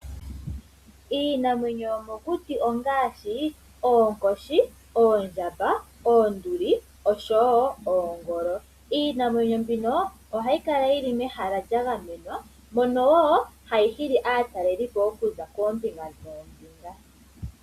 Iinamwenyo yomokuti ongaashi, oonkoshi, oondjamba, oonduli osho wo oongolo. Iinamwenyo mbino ohayi kala yili mehala lyagamenwa mono wo hayi hili aataleli po okuza koombinga noombinga.